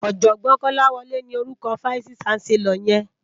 Òjògbòn Kolawole ni órúkò fáìsí ṣánsèlòr yèn